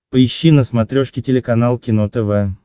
поищи на смотрешке телеканал кино тв